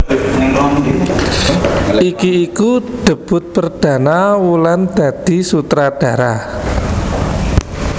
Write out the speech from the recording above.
Iki iku debut perdana Wulan dadi sutradara